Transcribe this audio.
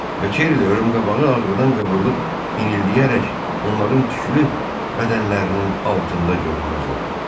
Və Kerli ölüm qabağı ağrıdan qıvrılıb inildiyərək onların tüklü bədənlərinin altında görünməz oldu.